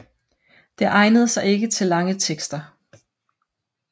Det egnede sig ikke til lange tekster